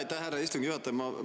Aitäh, härra istungi juhataja!